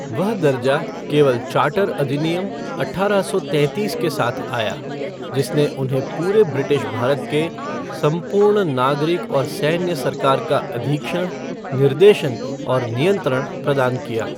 वह दर्जा केवल चार्टर अधिनियम, अठारह सौ तैंतीस के साथ आया, जिसने उन्हें पूरे ब्रिटिश भारत के "संपूर्ण नागरिक और सैन्य सरकार का अधीक्षण, निर्देशन और नियंत्रण" प्रदान किया।